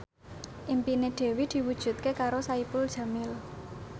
impine Dewi diwujudke karo Saipul Jamil